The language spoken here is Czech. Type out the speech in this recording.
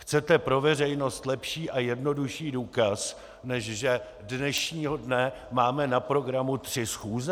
Chcete pro veřejnost lepší a jednodušší důkaz, než že dnešního dne máme na programu tři schůze?